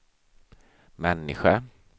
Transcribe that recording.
människa